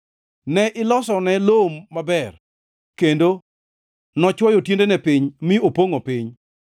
Ne ilosone lowo maber, kendo nochwoyo tiendene piny mi opongʼo piny.